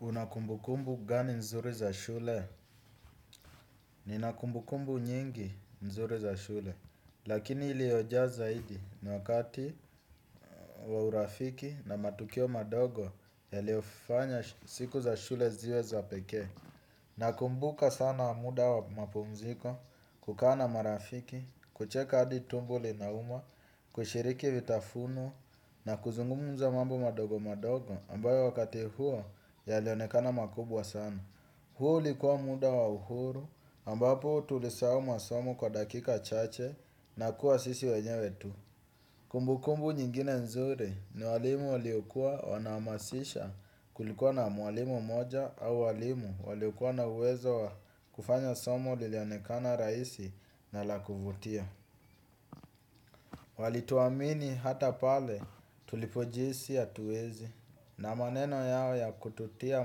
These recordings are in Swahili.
Unakumbukumbu gani nzuri za shule? Ninakumbukumbu nyingi nzuri za shule. Lakini iliyoja zaidi ni wakati wa urafiki na matukio madogo yaliyofanya siku za shule ziwe za pekee. Nakumbuka sana muda wa mapumziko kukaa na marafiki, kucheka adi tumbo linauma, kushiriki vitafuno na kuzungumuza mambo madogo madogo ambayo wakati huo yalionekana makubwa sana. Huu ulikuwa muda wa uhuru ambapo tulisahau masomo kwa dakika chache na kuwa sisi wenye tu. Kumbukumbu nyingine nzuri ni walimu waliokua wanahamasisha kulikuwa na mwalimu mmoja au walimu waliokua na uwezo wa kufanya somo lilionekana rahisi na la kuvutia. Walituwamini hata pale tulipojihisi hatuezi. Na maneno yao ya kututia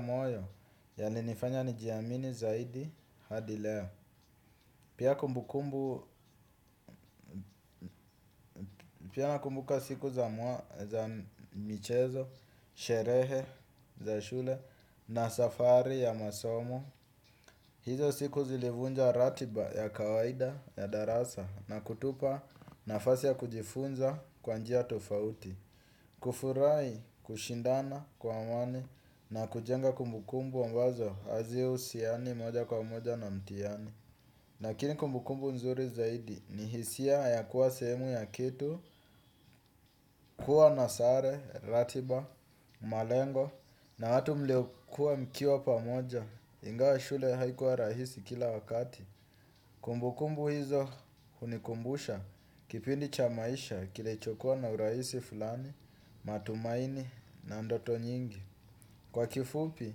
moyo yalinifanya nijiamini zaidi hadi leo. Pia kumbukumbu, pia nakumbuka siku za michezo, sherehe, za shule na safari ya masomo. Hizo siku zilivunja ratiba ya kawaida ya darasa na kutupa nafasi ya kujifunza kwa njia tofauti. Kufurahi, kushindana kwa amani na kujenga kumbukumbu ambazo hazi husiani moja kwa moja na mtihani lakini kumbukumbu nzuri zaidi ni hisia ya kuwa sehemu ya kitu. Kuwa na sare, ratiba, malengo na watu mliokuwa mkiwa pamoja ingawa shule haikuwa rahisi kila wakati. Kumbukumbu hizo hunikumbusha kipindi cha maisha kilichokua na urahisi fulani, matumaini na ndoto nyingi. Kwa kifupi,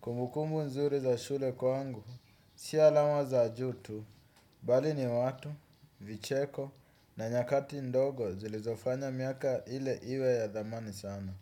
kumbukumbu nzuri za shule kwangu, si alama za juu tu, bali ni watu, vicheko na nyakati ndogo zilizofanya miaka ile iwe ya thamani sana.